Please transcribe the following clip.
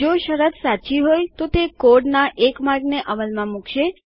જો શરત સાચી હોય તો તે કોડના એક માર્ગને અમલમાં મુકશે